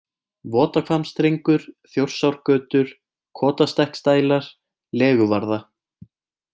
Votahvammsstrengur, Þjórsárgötur, Kotastekksdælar, Leguvarða